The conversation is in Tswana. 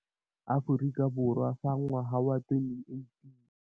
Aforika Borwa fa ngwaga wa 2018.